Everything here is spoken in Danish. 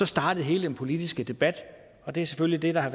startede hele den politiske debat og det er selvfølgelig det der har